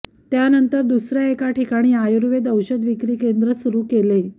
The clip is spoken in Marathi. त्यानंतर दुसऱ्या एका ठिकाणी आयुर्वेद औषधविक्री केंद्र सुरू केले